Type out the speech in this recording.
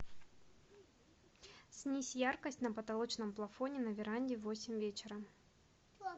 снизь яркость на потолочном плафоне на веранде в восемь вечера